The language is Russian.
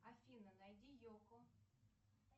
афина найди йокко